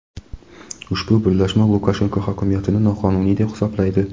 Ushbu birlashma Lukashenko hokimiyatini noqonuniy deb hisoblaydi.